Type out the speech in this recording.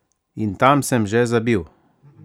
In tam še zabil?